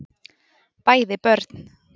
bæði börn